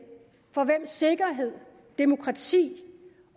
for hvem sikkerhed demokrati